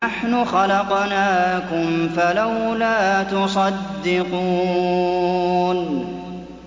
نَحْنُ خَلَقْنَاكُمْ فَلَوْلَا تُصَدِّقُونَ